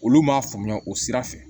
Olu m'a faamuya o sira fɛ